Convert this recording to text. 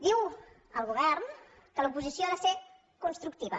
diu el govern que l’oposició ha de ser constructiva